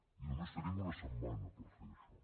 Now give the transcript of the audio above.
i només tenim una setmana per fer això